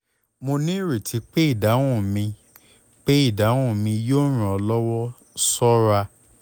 mo nireti pe idahun mi pe idahun mi yoo ran ọ lọwọ ṣọra